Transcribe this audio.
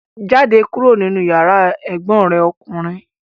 Jáde kúrò nínú yàrá ẹ̀gbọ́n rẹ̀ ọkùnrin!